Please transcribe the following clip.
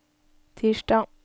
tirsdag